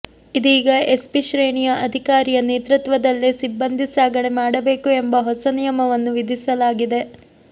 ಇದೀಗ ಎಸ್ಪಿ ಶ್ರೇಣಿಯ ಅಧಿಕಾರಿಯ ನೇತೃತ್ವದಲ್ಲೇ ಸಿಬ್ಬಂದಿ ಸಾಗಣೆ ಮಾಡಬೇಕು ಎಂಬ ಹೊಸ ನಿಯಮವನ್ನು ವಿಧಿಸಲಾಗಿದೆ